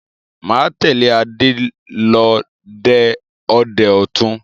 Máa tẹ̀lé Adé lọ dẹ ọdẹ ẹtù